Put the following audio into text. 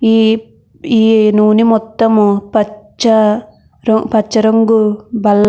ఈ ఈ నునే మొత్తం పచ రంగు బల్ --